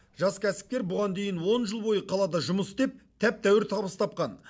жас кәсіпкер бұған дейін он жыл бойы қалада жұмыс істеп тәп тәуір табыс тапқан